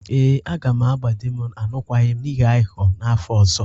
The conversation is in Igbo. Ee, agam agba di m alụkwaghịm n'ihi aghụghọ n'afọ ọzọ.